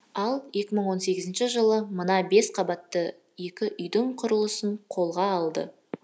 ал екі мың он сегізінші жылы мына бес қабатты екі үйдің құрылысын қолға алды